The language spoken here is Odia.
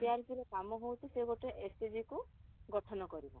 CRP ର କାମ ହଉଛି ସେ ଗୋଟେ SHG କୁ ଗଠନ କରିବ